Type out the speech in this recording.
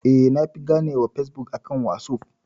Eh na fi gane wa Fesbuk akan wasuf